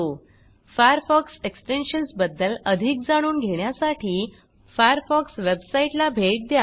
Firefox extensions बद्दल अधिक जाणून घेण्यासाठी फायरफॉक्स वेबसाईटला भेट द्या